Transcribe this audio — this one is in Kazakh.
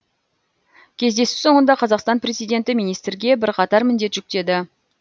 кездесу соңында қазақстан президенті министрге бірқатар міндет жүктеді